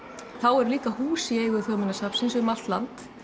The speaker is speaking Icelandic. þá eru líka hús í eigu Þjóðminjasafnsins um allt land